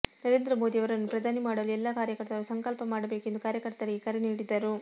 ನರೇಂದ್ರ ಮೋದಿ ಅವರನ್ನು ಪ್ರಧಾನಿ ಮಾಡಲು ಎಲ್ಲ ಕಾರ್ಯಕರ್ತರು ಸಂಕಲ್ಪ ಮಾಡಬೇಕು ಎಂದು ಕಾರ್ಯಕರ್ತರಿಗೆ ಕರೆ ನೀಡಿದರು